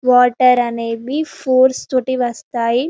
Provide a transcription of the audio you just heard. water అనేవి foods తోటి వస్తాయ్--